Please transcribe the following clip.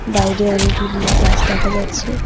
বাইরে অনেকগুলি গাছ দেখা যাচ্ছে।